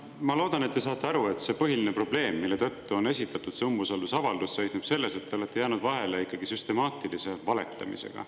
Ma loodan, et te saate aru, et see põhiline probleem, mille tõttu on esitatud see umbusaldusavaldus, seisneb selles, et te olete jäänud vahele ikkagi süstemaatilise valetamisega.